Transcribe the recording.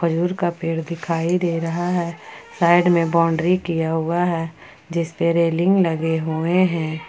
दूर का पेड़ दिखाई दे रहा है साइड में बाउंड्री किया हुआ है जिस पर रेलिंग लगे हुए हैं।